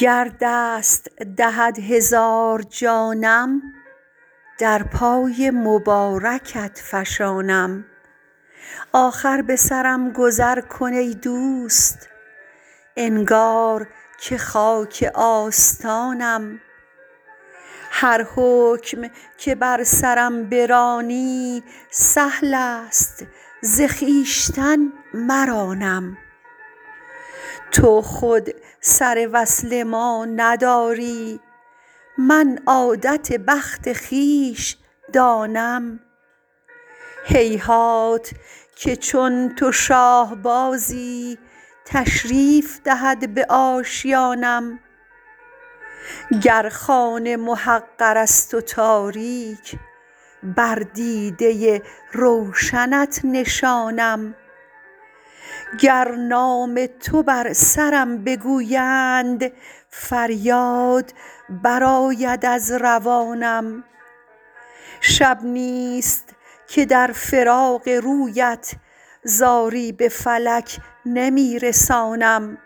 گر دست دهد هزار جانم در پای مبارکت فشانم آخر به سرم گذر کن ای دوست انگار که خاک آستانم هر حکم که بر سرم برانی سهل است ز خویشتن مرانم تو خود سر وصل ما نداری من عادت بخت خویش دانم هیهات که چون تو شاه بازی تشریف دهد به آشیانم گر خانه محقر است و تاریک بر دیده روشنت نشانم گر نام تو بر سرم بگویند فریاد برآید از روانم شب نیست که در فراق رویت زاری به فلک نمی رسانم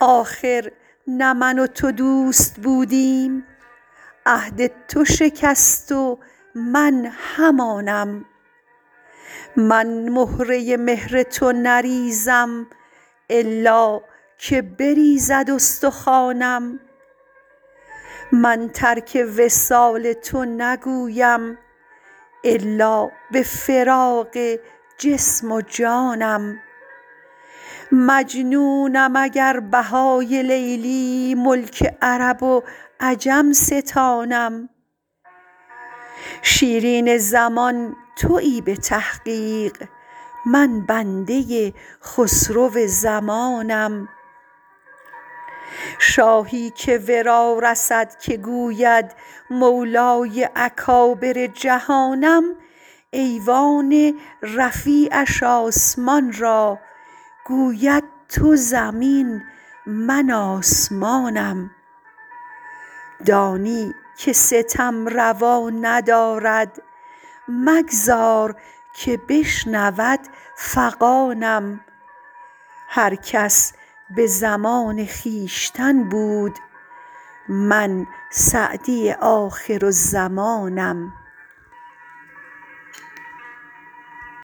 آخر نه من و تو دوست بودیم عهد تو شکست و من همانم من مهره مهر تو نریزم الا که بریزد استخوانم من ترک وصال تو نگویم الا به فراق جسم و جانم مجنونم اگر بهای لیلی ملک عرب و عجم ستانم شیرین زمان تویی به تحقیق من بنده خسرو زمانم شاهی که ورا رسد که گوید مولای اکابر جهانم ایوان رفیعش آسمان را گوید تو زمین من آسمانم دانی که ستم روا ندارد مگذار که بشنود فغانم هر کس به زمان خویشتن بود من سعدی آخرالزمانم